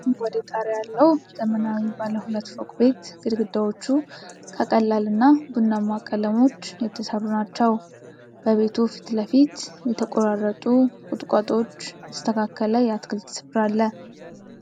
አረንጓዴ ጣሪያ ያለው ዘመናዊ ባለ ሁለት ፎቅ ቤት። ግድግዳዎቹ ከቀላል እና ቡናማ ቀለሞች የተሠሩ ናቸው በቤቱ ፊት ለፊት የተቆራረጡ ቁጥቋጦዎች የተስተካከለ የአትክልት ስፍራ አለ።